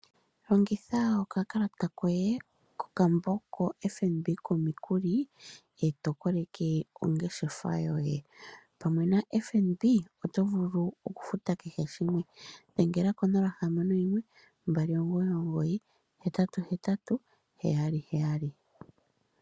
Longitha okakalata koye kokambo ko FNB komikuli, e tokoleke ongeshefa yoye. Pamwe na FNB oto vulu okufuta kehe shimwe. Dhengela konola hamano yimwe, mbali omugoyi nomugoyi, oohetatu dhili mbali, noshowo ooheyali yeli yaali.